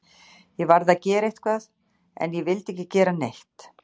Ég varð að gera eitthvað, en ég vildi ekki gera neitt.